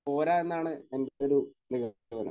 പോരാ എന്നാണ് എന്റെയൊരു നിഗമനം.